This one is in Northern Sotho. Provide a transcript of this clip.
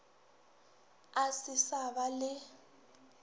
e se sa ba le